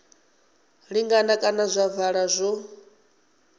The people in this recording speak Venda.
linganaho kana zwa ovala zwo